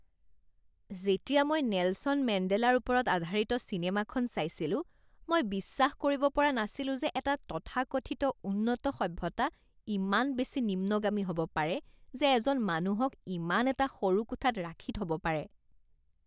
যেতিয়া মই নেলছন মেণ্ডেলাৰ ওপৰত আধাৰিত চিনেমাখন চাইছিলো, মই বিশ্বাস কৰিব পৰা নাছিলো যে এটা তথাকথিত উন্নত সভ্যতা ইমান বেছি নিম্নগামী হ'ব পাৰে যে এজন মানুহক ইমান এটা সৰু কোঠাত ৰাখি থব পাৰে